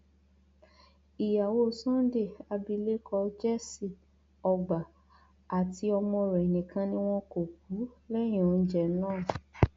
ìyàwó sunday abilékọ jessy ọgbà àti ọmọ rẹ nìkan ni wọn kò kú lẹyìn oúnjẹ náà